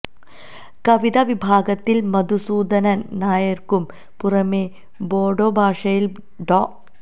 കവിതാ വിഭാഗത്തില് മധുസൂദനന് നായര്ക്കു പുറമേ ബോഡോ ഭാഷയിലെ ഡോ